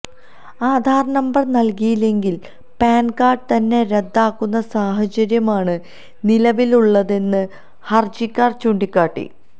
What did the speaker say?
Aadhaar number നല്കിയില്ലെങ്കില് PAN card തന്നെ റദ്ദാകുന്ന സാഹചര്യമാണ് നിലവിലുള്ളതെന്ന് ഹര്ജിക്കാര് ചൂണ്ടിക്കാട്ടി